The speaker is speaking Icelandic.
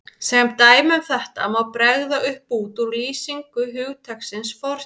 Sem dæmi um þetta má bregða upp bút úr lýsingu hugtaksins fortíð